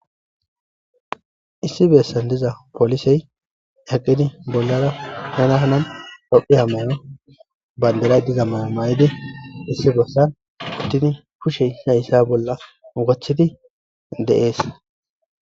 Issi besan diza polisey yedhidi bollara Hana Hani tophiya mayo mayidi issi besan uttidi kushe issi issa bolla wothidi de'es.